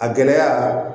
A gɛlɛya